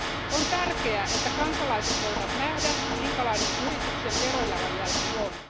On tärkeää, että kansalaiset voivat nähdä, minkälainen yrityksen verojalanjälki on.